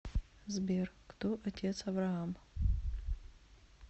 сбер кто отец авраам